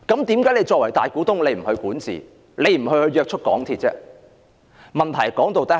政府作為大股東，為何不管治、約束港鐵公司？